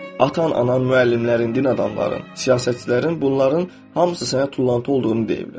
Atan, anan, müəllimlərin, din adamların, siyasətçilərin, bunların hamısı sənə tullantı olduğunu deyiblər.